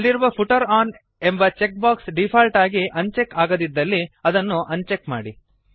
ಅಲ್ಲಿರುವ footer one ಎಂಬ checkbox default ಆಗಿ ಅನ್ ಚೆಕ್ ಆಗದಿದ್ದಲ್ಲಿ ಅದನ್ನು ಅನ್ ಚೆಕ್ ಮಾಡಿ